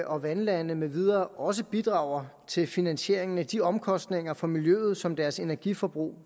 og vandlande med videre også bidrager til finansieringen af de omkostninger for miljøet som deres energiforbrug